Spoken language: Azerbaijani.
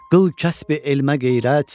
Qıl kəsbi elmə qeyrət.